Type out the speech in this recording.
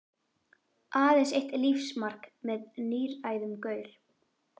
Aðeins eitt lífsmark með níræðum gaur.